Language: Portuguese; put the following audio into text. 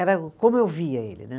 Era como eu via ele, né.